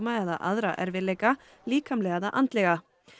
eða aðra erfiðleika líkamlega eða andlega